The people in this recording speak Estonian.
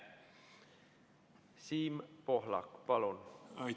Siim Pohlak, palun!